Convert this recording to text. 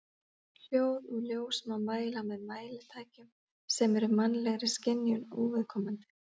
Hljóð og ljós má mæla með mælitækjum sem eru mannlegri skynjun óviðkomandi.